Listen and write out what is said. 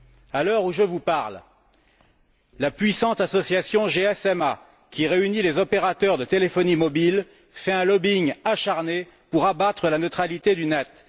À l'heure où je vous parle, la puissante association GSMA, qui réunit les opérateurs de téléphonie mobile, fait un lobbying acharné pour abattre la neutralité du net.